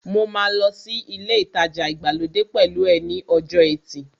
Mo máa lọ sí ilé ìtajà ìgbàlódé pẹ̀lú ẹ ní ọjọ́ ẹtì